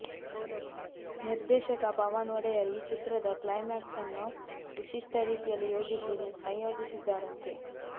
ನಿರ್ದೇಶಕ ಪವನ್ ಒಡೆಯರ್ ಈ ಚಿತ್ರದ ಕ್ಲೈಮ್ಯಾಕ್ಸ್ ಅನ್ನು ವಿಶಿಷ್ಟ ರೀತಿಯಲ್ಲಿ ಯೋಜಿಸಿ ಸಂಯೋಜಿಸಿದ್ದಾರಂತೆ